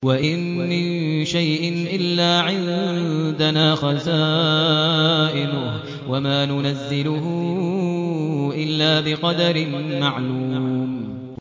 وَإِن مِّن شَيْءٍ إِلَّا عِندَنَا خَزَائِنُهُ وَمَا نُنَزِّلُهُ إِلَّا بِقَدَرٍ مَّعْلُومٍ